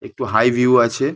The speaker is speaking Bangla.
একটু হাই ভিউ আছে।